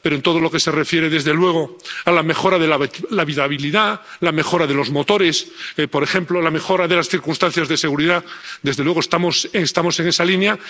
Pero en todo lo que se refiere a la mejora de la habitabilidad, la mejora de los motores, por ejemplo, la mejora de las circunstancias de seguridad, desde luego estamos en esa línea.